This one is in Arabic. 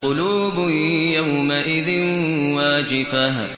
قُلُوبٌ يَوْمَئِذٍ وَاجِفَةٌ